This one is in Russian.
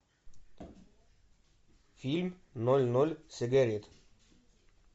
фильм ноль ноль сигарет